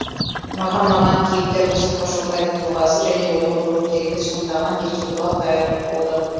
маған ұнаған кейіпкер мұстафа шоқайдың тұлғасы және оның рөлін керемет сомдаған еркебұлан дайыров болды